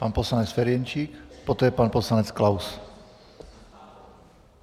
Pan poslanec Ferjenčík, poté pan poslanec Klaus.